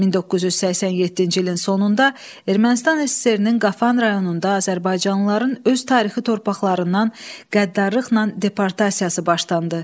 1987-ci ilin sonunda Ermənistan SSRİ-nin Qafan rayonunda azərbaycanlıların öz tarixi torpaqlarından qəddarlıqla deportasiyası başlandı.